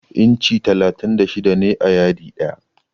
Inci talatin da shida ne a yadi ɗaya.